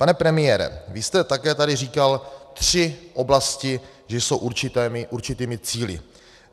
Pane premiére, vy jste také tady říkal tři oblasti, že jsou určitými cíli.